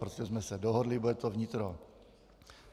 Prostě jsme se dohodli, bude to vnitro.